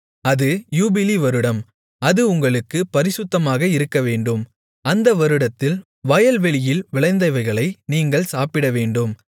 அது யூபிலி வருடம் அது உங்களுக்குப் பரிசுத்தமாக இருக்கவேண்டும் அந்த வருடத்தில் வயல்வெளியில் விளைந்தவைகளை நீங்கள் சாப்பிடவேண்டும்